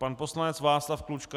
Pan poslanec Václav Klučka.